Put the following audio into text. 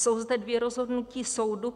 Jsou zde dvě rozhodnutí soudu.